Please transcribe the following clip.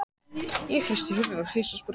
Ég hristi höfuðið, hissa á spurningunni.